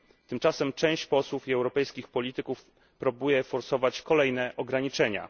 Tymczasem część posłów i europejskich polityków próbuje forsować kolejne ograniczenia.